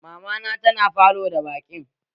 Mamana tana falo da baƙin